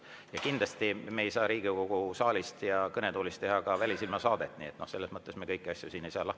Aga kindlasti me ei saa Riigikogu saalis ja kõnetoolis teha "Välisilma" saadet, selles mõttes ei saa me kõiki asju siin lahti seletada.